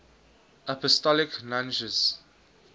apostolic nuncios